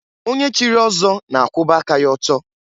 Onye chiri ọzọ na-akwụba aka ya ọtọ.